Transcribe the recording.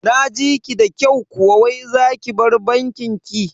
Naji ki da kyau kuwa wai zaki bar bankin ki?